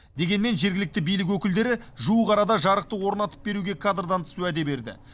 дегенмен жергілікті билік өкілдері жуық арада жарықты орнатып беруге кадрдан тыс уәде берді